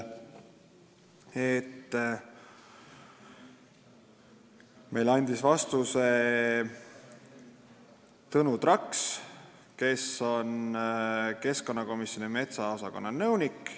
Meile andis vastuse Tõnu Traks, kes on Keskkonnaministeeriumi metsaosakonna nõunik.